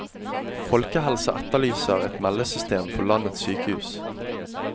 Folkehelsa etterlyser et meldesystem for landets sykehus.